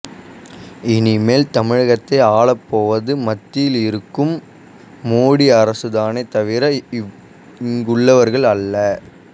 இனிமேல் தமிழகத்தை ஆளப் போவது மத்தியில் இருக்கும் மோடி அரசுதானே தவிர இங்குள்ளவர்கள் அல்ல